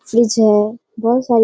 Fridge है। बोहत सारी --